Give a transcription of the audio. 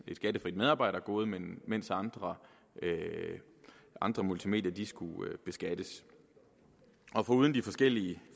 skattefrit medarbejdergode mens andre andre multimedier skulle beskattes og foruden de forskellige